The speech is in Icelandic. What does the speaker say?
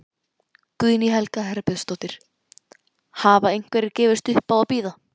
Guðný Helga Herbertsdóttir: Hafa einhverjir gefist upp á að bíða?